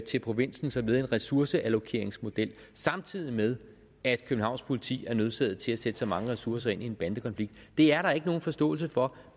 til provinsen som led i en ressourceallokeringsmodel samtidig med at københavns politi er nødsaget til at sætte så mange ressourcer ind i en bandekonflikt er der ikke nogen forståelse for